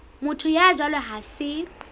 motho ya jwalo ha se